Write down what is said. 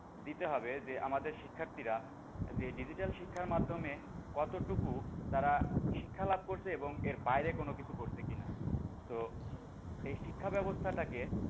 দিতে হবে যে আমাদের শিক্ষার্থীরা যে digital শিক্ষার মাধ্যমে কতটুকু তারা শিক্ষালাভ করছে এবং এর বাইরে কোন কিছু করছে কি না? তো এই শিক্ষা বাবস্থাটাকে